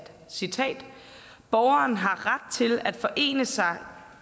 citerer borgerne har ret til at forene sig